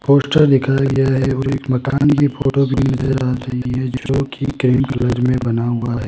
Poster दिखाया गया है और एक मकान की फोटो भी नजर आ रही है जो की कई कलर में बना हुआ है।